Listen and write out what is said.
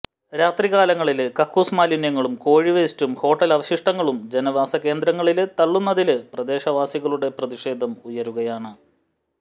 രാത്രി കാലങ്ങളില് കക്കൂസ് മാലിന്യങ്ങളും കോഴിവേസ്റ്റും ഹോട്ടല് അവശിഷ്ടങ്ങളും ജനവാസ കേന്ദ്രങ്ങളില് തള്ളുന്നതില് പ്രദേശവാസികളുടെ പ്രതിഷേധം ഉയരുകയാണ്